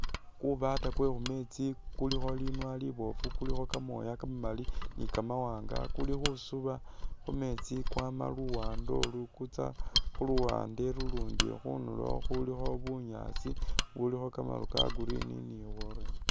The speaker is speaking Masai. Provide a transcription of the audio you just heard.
Kubaata kwe mumeetsi kulikho linwa liboofu kulikho kamooya kamamali ni kamawanga, kuli khusuba khumeetsi kwama luwande olu kutsa khuluwande ulundi khundulo khulikho bunyaasi bubulikho kamaru ka green ni bworoba